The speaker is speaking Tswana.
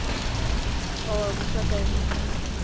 ka wa busa kaelo e